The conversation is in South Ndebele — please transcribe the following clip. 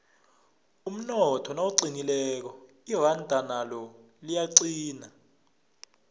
umnotho nawuqinileko iranda nalo liyaqina